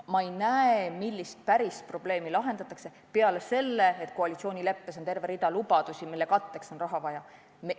Ma ei oska öelda, millist pärisprobleemi lahendatakse, peale selle, et koalitsioonileppes on terve rida lubadusi, mille katteks on raha vaja.